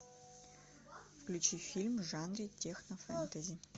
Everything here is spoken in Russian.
включи фильм в жанре технофэнтези